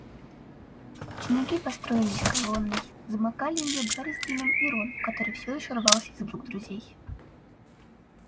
ученики построились колонной замыкали её гарри с дином и рон который всё ещё рвался из рук друзей